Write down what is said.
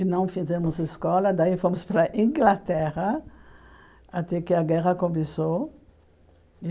E não fizemos escola, daí fomos para a Inglaterra, até que a guerra começou.